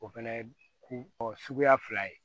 O fɛnɛ ye ko suguya fila ye